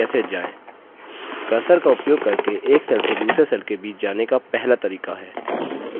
cursor का उपयोग करके एक cells से दूसरे cells के बीच जाने का पहला तरीका है